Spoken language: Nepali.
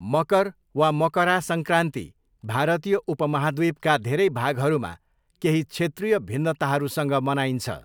मकर वा मकरा सङ्क्रान्ति भारतीय उपमहाद्वीपका धेरै भागहरूमा केही क्षेत्रीय भिन्नताहरूसँग मनाइन्छ।